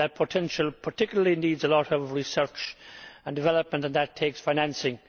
But that potential particularly needs a lot of research and development and that takes financing.